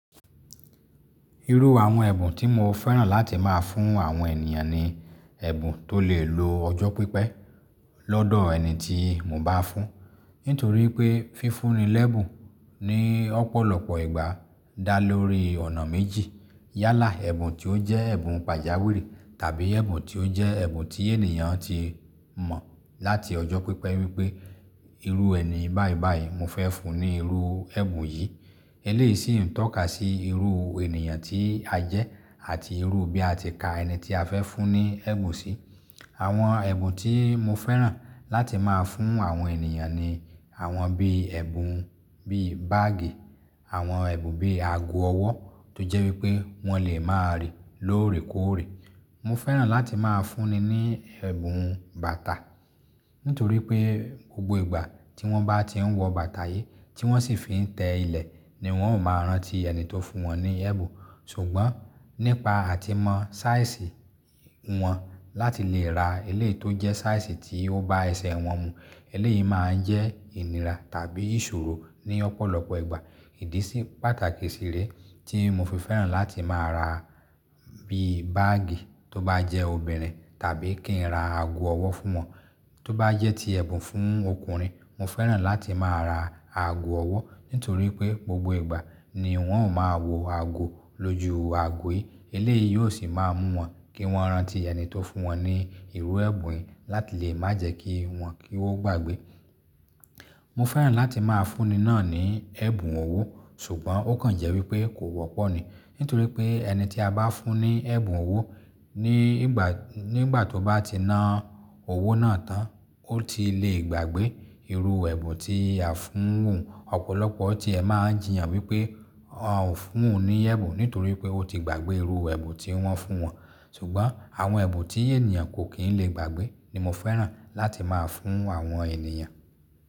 Irú àwọn ẹ̀bùn tí mo fẹ́ràn láti máa fún àwọn ènìyàn ni ẹ̀bùn tó lè lo ọjọ́ pípẹ́ lọ́dọ̀ ẹni tí mo bá fún. Nítorí pé fífúnni lẹ́ẹ̀bùn ní ọ̀pọ̀lọpọ̀ ìgbà dá lórí ọ̀nà méjì. Yálà ẹ̀bùn tí ó jẹ́ ẹ̀bùn pàjáwìrì tàbí ẹ̀bùn tí ó jẹ́ ẹ̀bùn tí ènìyàn ti mọ̀ láti ọjọ́ pípẹ́ wípé irú ẹni báìbàì mo fẹ́ fún ní irú ẹ̀bùn yìí. Eléyìí sì ń tọ́ka sí irú ènìyàn tí a jẹ́ àti irú bí a ti ka ẹni tí a fẹ́ fún ní ẹ̀bùn sí. Àwọn ẹ̀bùn tí mo fẹ́ràn láti máa fún àwọn ènìyàn ni àwọn bí ẹ̀bùn bí báàgì, àwọn ẹ̀bùn bí ago ọwọ́ tó jẹ́ wípé wọ́n lè máa rí lóòrè kóòrè. Mo fẹ́ràn láti máa fún ni ní ẹ̀bùn bàtà. Nítorí pé gbogbo ìgbà tí wọ́n bá ti ń wọ bàtà yìí tí wọ́n sì fi ń tẹ́ ilẹ̀ ni wọ́n ó máa rántí ẹni tó fún wọn ní ẹ̀bùn. Ṣùgbọ́n nípa àtimọ́ sáìsì wọn láti lè ra eléyìí tó jẹ́ sáìsì tí ó bá ẹsẹ̀ wọn mu. Eléyìí máa ń jẹ́ ìnira tàbí ìṣòro ní ọ̀pọ̀lọpọ̀ ìgbà. Ìdí sì pàtàkì sì rè tí mo fi fẹ́ràn láti máa ra bí báàgì tó bá jẹ́ obìnrin tàbí kí n ra ago ọwọ́ fún wọn tó bá jẹ́ ti ẹ̀bùn fún ọkùnrin. Mo fẹ́ràn láti máa ra ago ọwọ́ nítorí pé gbogbo ìgbà ni wọ́n ó máa wò ago lójú ago yìí. Eléyìí yóò sì máa mú wọn kí wọ́n rántí ẹni tó fún wọn ní irú ẹ̀bùn yìí láti lè má jẹ́ kí wọn kí ó gbàgbé. Mo fẹ́ràn láti máa fún ni náà ní ẹ̀bùn owó. Ṣùgbọ́n ó kàn jẹ́ wípé kò wọ́pọ̀ ni. Nítorí pé ẹni tí a bá fún ní ẹ̀bùn owó ní ìgbà, nígbà tó bá ti ná owó náà tán ó ti lè gbàgbé irú ẹ̀bùn tí a fún òun. Ọ̀pọ̀lọpọ̀ tí ẹ máa ń jiyàn wípé a ò fún òun ní ẹ̀bùn nítorí pé ó ti gbàgbé irú ẹ̀bùn tí wọ́n fún wọn. Ṣùgbọ́n àwọn ẹ̀bùn tí ènìyàn kò kì í lè gbàgbé ni mo fẹ́ràn láti máa fún àwọn ènìyàn.